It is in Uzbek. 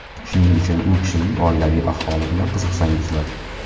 Shuning uchun u kishining oilaviy ahvoli bilan qiziqsangizlar.